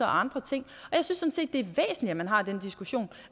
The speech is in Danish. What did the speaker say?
og andre ting og at man har den diskussion